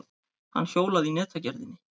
Hann hjólaði að netagerðinni.